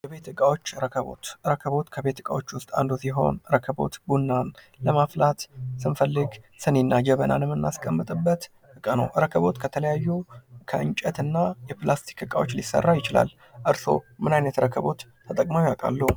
የቤት ዕቃዎች ፦ ረከቦት ፦ ረከቦት ከቤት እቃዎች ውስጥ አንዱ ሲሆን ረከቦት ቡና ለማፍላት ስንፈልግ ስኒ እና ጀበና የምናስቀምጥበት ዕቃ ነው ። ረከቦት ከተለያዩ የእንጨት እና የፕላስቲክ እቃዎች ሊሰራ ይችላል ። እርስዎ ምን አይነት ረከቦት ተጠቅመው ያውቃሉ ?